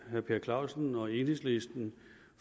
herre per clausen og enhedslisten